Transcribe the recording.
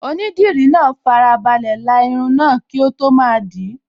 Onídìdí náà farabalẹ̀ la irun náà kí ó tó máa dìí